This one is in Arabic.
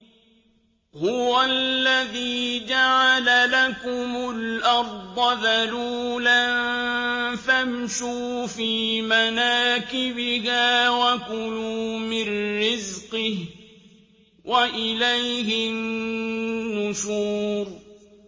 هُوَ الَّذِي جَعَلَ لَكُمُ الْأَرْضَ ذَلُولًا فَامْشُوا فِي مَنَاكِبِهَا وَكُلُوا مِن رِّزْقِهِ ۖ وَإِلَيْهِ النُّشُورُ